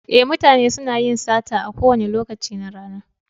Ee, mutane suna yin sata a kowane lokaci na rana.